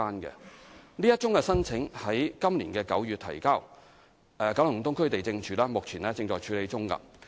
該宗申請於今年9月提交，九龍東區地政處現正處理中。